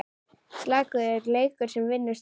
Slakur leikur sem vinnur strax!